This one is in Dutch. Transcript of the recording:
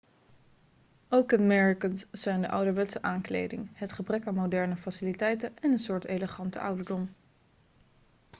ook kenmerkend zijn de ouderwetse aankleding het gebrek aan moderne faciliteiten en een soort elegante ouderdom